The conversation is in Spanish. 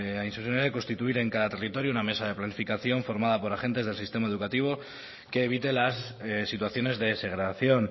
hain zuzen ere constituir en cada territorio una mesa de planificación formada por agentes del sistema educativo que evite las situaciones de segregación